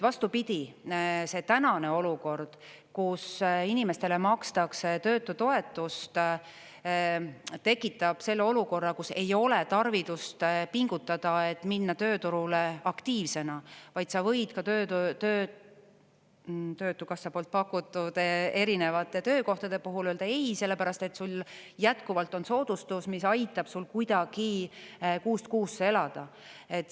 Vastupidi, see tänane olukord, kus inimestele makstakse töötutoetust, tekitab selle olukorra, kus ei ole tarvidust pingutada, et minna tööturule aktiivsena, vaid sa võid ka töötukassa pakutud erinevate töökohtade puhul öelda ei, sellepärast et sul jätkuvalt on soodustus, mis aitab sul kuidagi kuust kuusse elada.